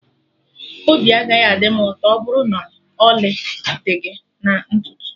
Obi agaghị adị m ụtọ ọbụrụ na ọlị dị gị na ntutu